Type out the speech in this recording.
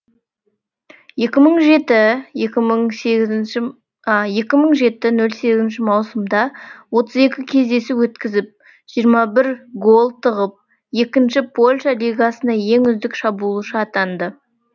екі мың жеті нөл сегіз маусымда отыз екі кездесу өткізіп жиырма бір гол тығып екінші польша лигасында ең үздік шабуылшы атанды